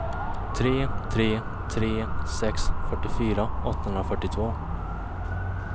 tre tre tre sex fyrtiofyra åttahundrafyrtiotvå